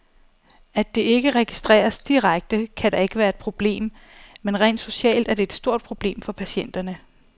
At det ikke registreres direkte, kan da ikke være et problem, men rent socialt er det et stort problem for patienterne.